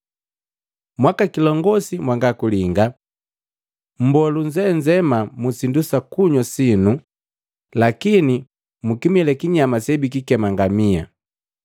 Mwakikilongosi mwangakulinga! Mmboa lunzenzema musindu sakunywa sinu, lakini mukimila kinyama sebikikema ngamia!